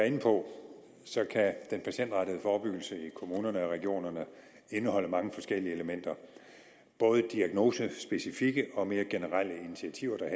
inde på kan den patientrettede forebyggelse i kommunerne og i regionerne indeholde mange forskellige elementer både diagnosespecifikke og mere generelle initiativer der